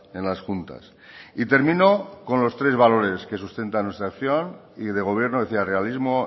en las juntas y termino con los tres valores que sustentan nuestra acción y de gobierno realismo